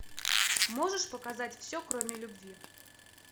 можешь показать все кроме любви